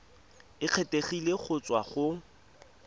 e kgethegileng go tswa go